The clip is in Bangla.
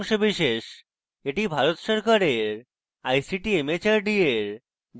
এটি ভারত সরকারের ict mhrd এর জাতীয় শিক্ষা mission দ্বারা সমর্থিত